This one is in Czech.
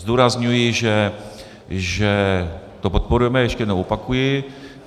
Zdůrazňuji, že to podporujeme, ještě jednou opakuji.